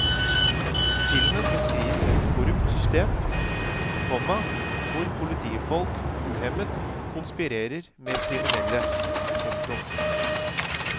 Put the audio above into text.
Filmen beskriver et korrupt system, komma hvor politifolk uhemmet konspirerer med kriminelle. punktum